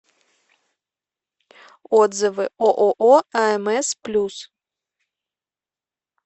отзывы ооо амс плюс